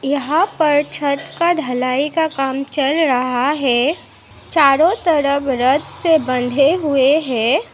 यहां पर छत का ढलाई का काम चल रहा है चारों तरफ रत से बंधे हुए हैं।